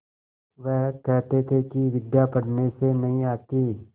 वह कहते थे कि विद्या पढ़ने से नहीं आती